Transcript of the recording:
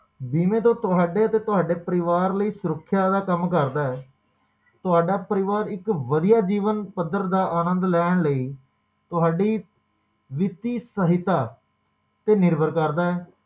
ਬੀਮੇ ਤੋਂ ਤੁਹਾਡੇ ਤੇ ਤੁਹਾਡੇ ਪਰਿਵਾਰ ਲਈ ਸੁਰੱਖਿਆ ਦਾ ਕੰਮ ਕਰਦਾ ਹੈ ਤੁਹਾਡਾ ਪਰਿਵਾਰ ਇੱਕ ਵਧੀਆ ਜੀਵਨ ਪੱਧਰ ਦਾ ਆਨੰਦ ਲੈਣ ਲਈ ਤੁਹਾਡੀ ਦਿੱਤੀ ਸਹਾਇਤਾ ਤੇ ਨਿਰਭਰ ਕਰਦਾ ਹੈ